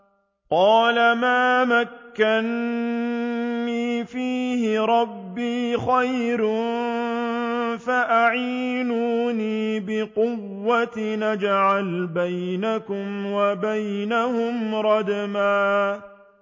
قَالَ مَا مَكَّنِّي فِيهِ رَبِّي خَيْرٌ فَأَعِينُونِي بِقُوَّةٍ أَجْعَلْ بَيْنَكُمْ وَبَيْنَهُمْ رَدْمًا